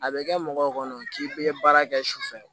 A bɛ kɛ mɔgɔw kɔnɔ k'i bɛ baara kɛ sufɛ